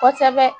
Kosɛbɛ